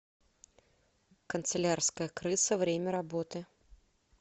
канцелярская крыса время работы